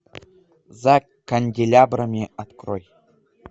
за канделябрами открой